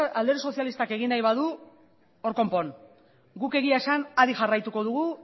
alderdi sozialistak egin nahi badu hor konpon guk egia esan adi jarraituko dugu